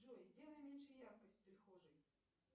джой сделай меньше яркость в прихожей